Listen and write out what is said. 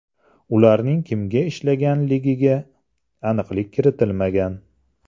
Ularning kimga ishlaganligiga aniqlik kiritilmagan.